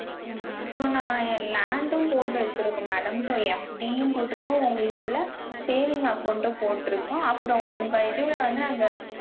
ஹம் so நா land ம் போட்டு வச்சிருக்கோம் madamso FD யும் போட்ருக்கோம் உங்க இதுல saving account ம் போட்ருக்கோம் அப்புறம் உங்க இதுல வந்து நாங்க